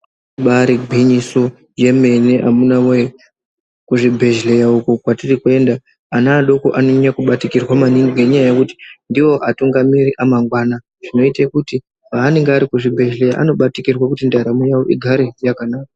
Ibari gwinyiso yemene amuna voye, kuzvibhedhleya uko kwatiri kuenda ana adoko anonyanya kubatikirwa maningi ngenyaya yekuti ndivo atungamiri amangwana. Zvinoite kuti paanenge ari kuzvibhedhleya anobatikirwe kuti ndaramo yavo igare yakanaka.